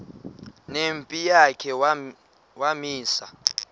nempi yakhe wamisa